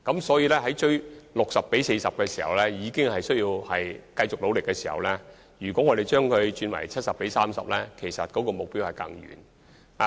所以，連達到 60：40 這個目標比例也需要繼續努力的情況下，若把目標比例提升為 70：30， 將更屬可望而不可即。